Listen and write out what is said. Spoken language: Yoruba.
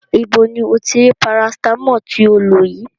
Ibo ni o ti rí Paracetamol tí o lò yìí?